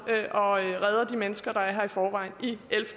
og redder de mennesker der er her i forvejen